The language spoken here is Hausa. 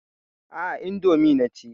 Aa, indomi naci